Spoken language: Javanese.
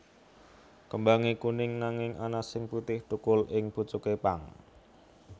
Kembange kuning nanging ana sing putih thukul ing pucuke pang